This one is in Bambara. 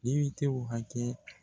depitew hakɛ